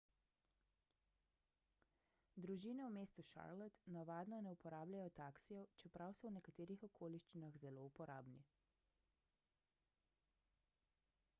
družine v mestu charlotte navadno ne uporabljajo taksijev čeprav so v nekaterih okoliščinah zelo uporabni